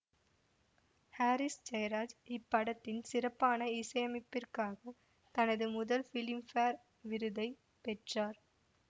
Harris Jayaraj இப்படத்தின் சிறப்பான இசையமைப்பிற்காக தனது முதல் பிலிம்பேர் விருதை பெற்றார்